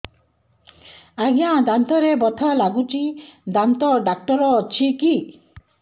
ଆଜ୍ଞା ଦାନ୍ତରେ ବଥା ଲାଗୁଚି ଦାନ୍ତ ଡାକ୍ତର ଅଛି କି